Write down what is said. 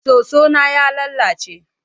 Soso na ya lalace.